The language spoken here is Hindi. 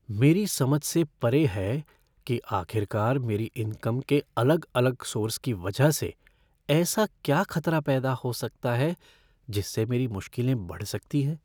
मेरी समझ से परे है कि आखिरकार मेरी इनकम के अलग अलग सोर्स की वजह से ऐसा क्या खतरा पैदा हो सकता है जिससे मेरी मुश्किलें बढ़ सकती है?